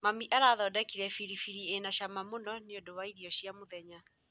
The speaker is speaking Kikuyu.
Mami arathondekire biribiri ĩna cama mũno nĩũndũ wa irio cia mũthenya